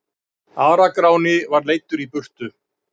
Ara-Gráni var leiddur í burtu.